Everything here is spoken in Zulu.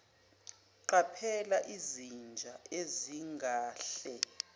qaphela izinja ezingahle